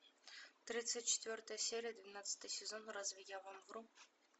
тридцать четвертая серия двенадцатый сезон разве я вам вру